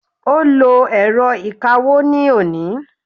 o lo èrọ ìkawó ni oni